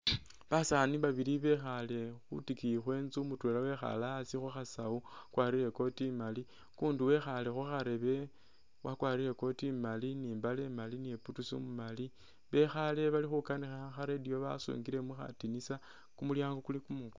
Basani babili bekhale khutikiyi khwenzu mutwela wekhale asi khukhasawu wakwarile i'coat imaali ukundi wekhale khukharebe wakwarile i'coat imaali ni'mbale imaali ni boots umumaali bekhale balikukanikha kha'radio basungile mukhadinisa kumulyango kuli kumwikule